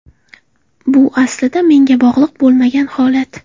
Bu aslida menga bog‘liq bo‘lmagan holat.